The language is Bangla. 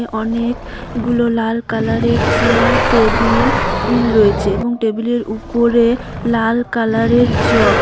অনেক -গুলো লাল কালার -এর চেয়ার টেবিল ইল রয়েছে এবং টেবিল -এর ওপরে লাল কালার -এর জগ।